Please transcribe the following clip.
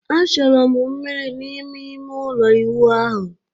Achọrọ m mmiri n'ime ime ụlọ ịwụ ahụ